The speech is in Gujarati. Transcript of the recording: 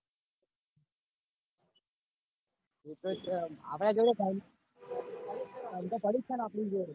આપડા જોડે time પડી જ ચ ને આપડી જોડે